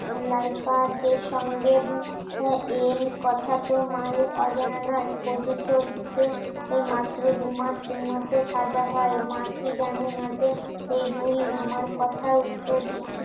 life আর দের সঙ্গে এন কথা তো মায়ের অজানা নয় কদু চলছে এ মাত্র দুমাস তিন মাসের সাজা হয় মাতৃ জানে না যে এই বুড়ি আমার কথার উত্তর দিচ্ছিস